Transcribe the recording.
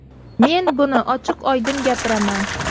Men buni ochiq-oydin gapiraman.